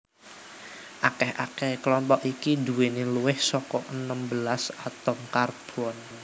Akeh akehe klompok iki nduweni luwih saka enem belas atom karbon